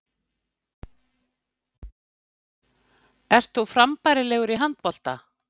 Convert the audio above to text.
Ert þú frambærilegur í handbolta?